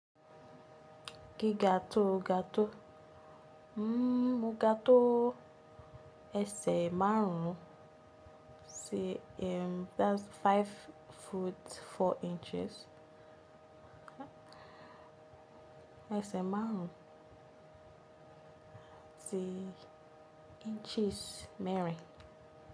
Giga tó ga tó? Mó ga tó ẹsẹ̀ márùn-ún, sí, that's five foot four inches. Ẹ̀sẹ̀ márùn-ún ati inches mẹ́rin.